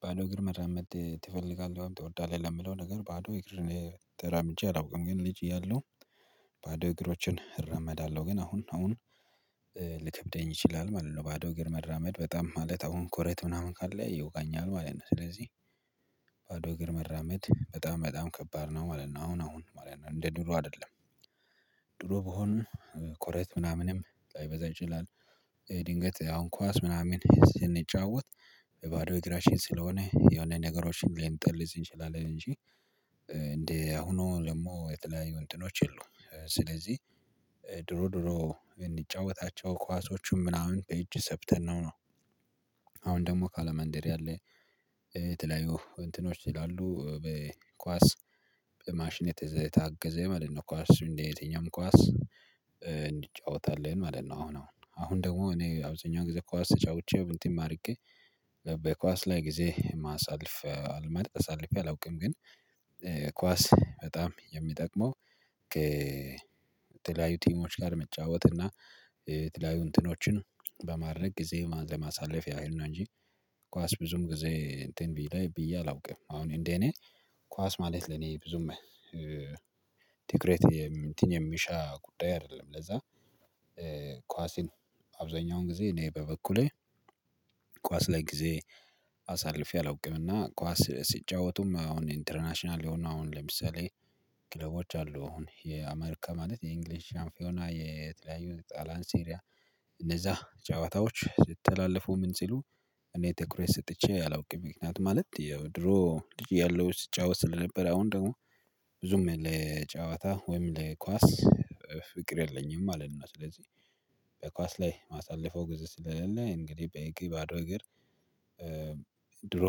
ባዶ እግር መራመድ ትፈልጋለህ? ወይም ትወዳለህ ለምለው ነገር ባዶ እግር ተራምጀ አላውቅም ግን ልጅ እያለሁ። ባዶ እግሮችን እራመዳለሁ ግን አሁን አሁን ልከብደኝ ይችላል ማለት ነው። ባዶ እግር መረመድ በጣም ማለት አሁን ኮረት ምናምን ካለ ይወጋኛል ማለት ነው። ስለዚህ ባዶ እግር መራመድ በጣም በጣም ከባድ ነው ማለት ነው። አሁን አሁን ማለት ነው እንደ ድሮ አይደለም። ድሮ ብሆን ኮረት ምናምንም ላይበዛ ይችላል። ድንገት አሁን ኳስ ምናምን ስንጫወት ባዶ እግራችን ስለሆነ የሆነ ነገሮችን ሊንጥልሊዝ እንችላለን እንጂ። እንዴ አሁኑ ደግሞ የተለያዩ እንትኖች አሉ ስለዚህ። ድሮ ድሮ እምንጫወታቸው ኳሶቹም ምናምን ከእጅ ሰብተን ነው ነው። አሁን ደግሞ ካለ ማንደሪ አለ። የተለያዩ እንትኖች ይላሉ በኳስ። በማሽኔ የታገዘ ማለት ነው ኳስ እንደየትኛውም ኳስ እንዲጫወት አለን ማለት ነው። አሁን አሁን አሁን አሁን ደግሞ እኔ አብዛኛው ጊዜ ኳስ ተጫውቼ እንትን አድርጌ በኳስ ላይ ጊዜ ማሳልፍ አልመርጥ አሳልፌ አላውቅም ግን። ኳስ በጣም የሚጠቅመው ከተለያዩ ቲሞች ጋር መጫወት እና የተለያዩ እንትኖችን በማድረግ ጊዜ ለማሳለፍ ያህል ነው እንጂ። ኳስ ብዙም ጊዜ እንትን ብዬ ላይ ብዬ አላውቅም። አሁን እንዴ እኔ ኳስ ማለት ለኔ ብዙም ዲክሬት እንትን የሚሻ ጉዳይ አይደለም ለዛ። ኳስን አብዛኛውን ጊዜ እኔ በበኩሌ። ኳስ ላይ ጊዜ አሳልፌ አላውቅምና ኳስ ሲጫወቱም አሁን ኢንተርናሽናል የሆነ አሁን ለምሳሌ። ክለቦች አሉ አሁን የአሜርካ ማለት የእንግሊዝ ሻምፒዮና የተለያዩ ጣላያን ሴሪያ እነዛ ጨዋታዎች ስትተላለፉ ምን ሲሉ እኔ ትኩረት ሰጥቼ አላውቅም። ምክንያት ማለት የድሮ ልጅ ያለው ስጫወት ስለነበረ አሁን ደግሞ ብዙም ለጨዋታ ወይም ለኳስ ፍቅር የለኝም ማለት ነው። ስለዚህ በኳስ ላይ ማሳለፈው ግዜ ስለሌለ እንግዲህ በእግር ባዶ እግር። ድሮ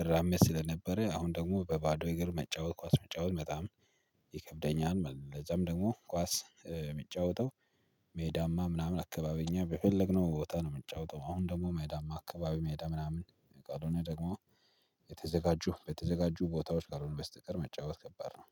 እራመድ ስለነበረ አሁን ደግሞ በባዶ እግር መጫወት ኳስ መጫወት በጣም ይከብደኛል ማለት ነው። ለዛም ደግሞ ኳስ የምጫወተው ሜዳማ ምናምን አካባቢኛ በፈለግነው ቦታ ነው የምንጫወተው። አሁን ደግሞ ሜዳማ አካባቢ ሜዳ ምናምን ካሎነ ደግሞ። የተዘጋጁ በተዘጋጁ ቦታዎች ካሎነ በስተቀር መጫወት ከባድ ነው።